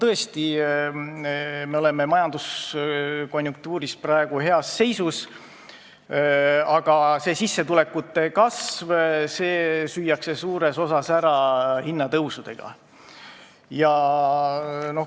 Tõesti, me oleme oma majanduse konjunktuuriga praegu heas seisus, aga sissetulekute kasv süüakse suures osas ära hinnatõusudega.